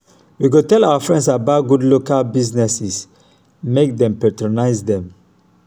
we go tell our friends about good local businesses make dem patronize dem.